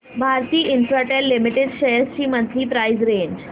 Bharti Infratel limited shares ची monthly price range